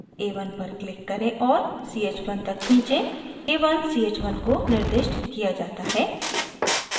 a1 पर click करें और ch1 तक खींचें a1 ch1 को निर्दिष्ट किया जाता है